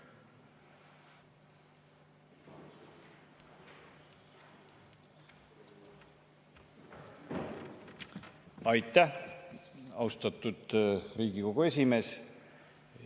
Aitäh, austatud Riigikogu esimees!